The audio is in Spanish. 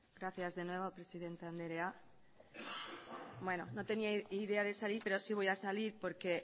gracias de nuevo presidente andrea no tenía idea de salir pero sí voy a salir porque